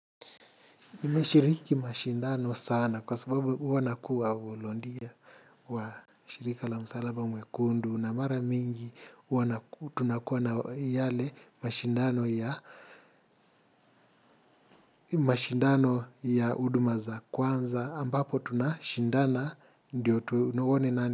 Nimeshiriki mashindano sana kwa sababu huwa nakuwa volontia wa shirika la msalaba mwekundu na mara mingi tunakuwa na yale mashindano ya mashindano ya huduma za kwanza ambapo tunashindana ndio tuone nani.